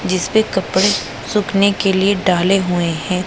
जिसपे कपड़े सूखने के लिए डाले हुए हैं।